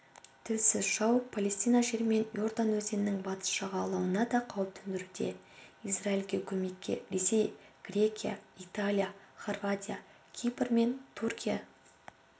тілсіз жау палестина жері мен иордан өзенінің батыс жағалауына да қауіп төндіруде израильге көмекке ресей грекия италия хорватия кипр мен түркия